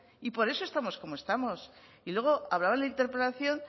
y por eso estamos como estamos y luego hablaba en la interpelación